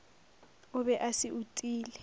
o be a se utile